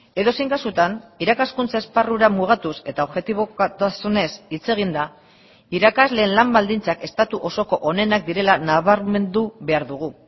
edozein kasutan irakaskuntza esparrura mugatuz eta objetibotasunez hitz eginda irakasleen lan baldintzak estatu osoko onenak direla nabarmendu behar dugu